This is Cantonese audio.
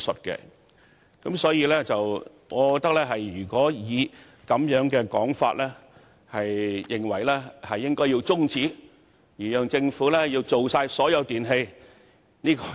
因此，如果議員認為現時應中止辯論，以讓政府考慮涵蓋所有電器，這只是空話。